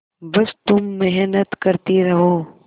बस तुम मेहनत करती रहो